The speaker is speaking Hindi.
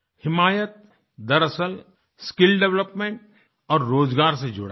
हिमायत दरअसल स्किल डेवलपमेंट और रोज़गार से जुड़ा है